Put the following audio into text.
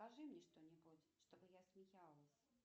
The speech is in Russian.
скажи мне что нибудь чтобы я смеялась